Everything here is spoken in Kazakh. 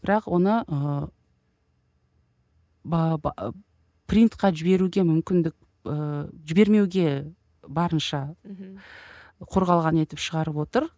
бірақ оны ы принтқа жіберуге мүмкіндік ыыы жібермеуге барынша мхм қорғалған етіп шығарып отыр